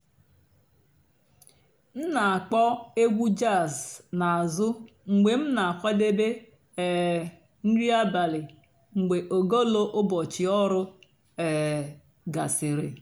m nà-ákpọ̀ ègwú jàzz n'àzụ́ mg̀bé m nà-àkwàdébé um nrí àbàlí mg̀bé ògólo ụ́bọ̀chị́ ọ̀rụ́ um gàsị́rị́.